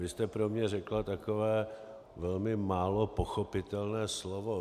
Vy jste pro mě řekla takové velmi málo pochopitelné slovo.